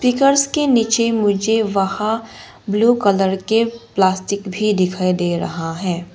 Speakers के नीचे मुझे वहां ब्लू कलर के प्लास्टिक भी दिखाई दे रहा है।